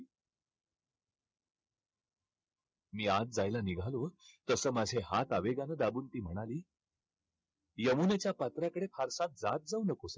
मी आत जायला निघालोच तसं माझे हात आवेगानं दाबून ती म्हणाली, यमुनेच्या पात्राकडे फारसा जात जाऊ नको.